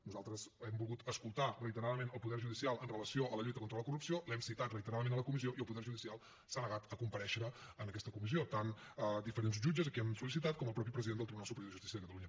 nosaltres hem volgut escoltar reiteradament el poder judicial amb relació a la lluita contra la corrupció l’hem citat reiteradament a la comissió i el poder judicial s’ha negat a comparèixer en aquesta comissió tant diferents jutges a qui ho hem sol·licitat com el mateix president del tribunal superior de justícia de catalunya